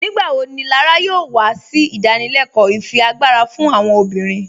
Nígbàwọ́ ní Lárà yóò wà sí ìdánìlẹ̀kọ́ ìfíágbarà fún àwọn obìnrin?